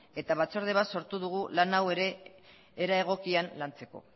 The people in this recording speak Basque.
eta batzorde bat sortu dugu lan hau ere era egokian lantzeko